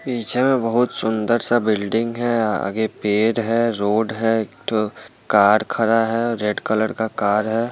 पीछे में बहुत सुन्दर सा बिल्डिंग है आगे पेड़ है रोड है एक ठो कार खड़ा है रेड कलर का कार है।